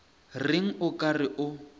reng o ka re o